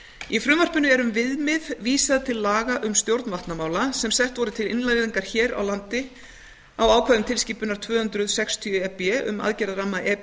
í frumvarpinu er um viðmið vísað til laga um stjórn vatnamála sem sett voru til innleiðingar hér á landi á ákvæðum tilskipunar tvö hundruð sextíu e b um aðgerðarramma e